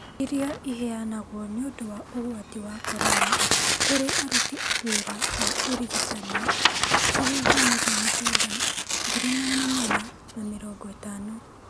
iria ĩheanagwo nĩ ũndũ wa ũgwati wa Korona kũrĩ aruti wĩra a ũrigitani; Ciringi mirioni kenda, ngiri magana mana na mĩrongo ĩtano ,